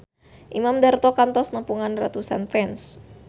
Imam Darto kantos nepungan ratusan fans